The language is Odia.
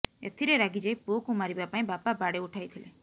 ଏଥିରେ ରାଗିଯାଇ ପୁଅକୁ ମାରିବା ପାଇଁ ବାପା ବାଡି ଉଠାଇଥିଲେ